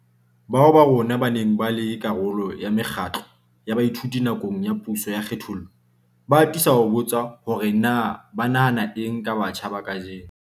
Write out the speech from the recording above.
Bao ba rona ba neng ba le karolo ya mekgatlo ya baithuti nakong ya puso ya kgethollo, ba atisa ho botswa hore na ba nahana eng ka batjha ba kajeno.